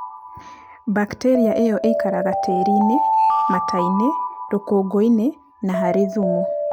Mbakitĩria ĩyo ikaraga tĩri-inĩ, mata-inĩ, rũkũngũ-inĩ na harĩ thumu.